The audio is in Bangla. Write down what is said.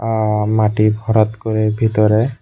আ মাটি ভরাত করে ভিতরে।